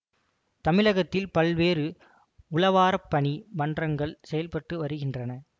தமிழகத்தில் பல்வேறு உழவாரப்பணி மன்றங்கள் செயல்பட்டு வருகின்றன